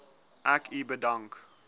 ek u bedank